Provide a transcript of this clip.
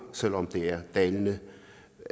selv om tallet er dalende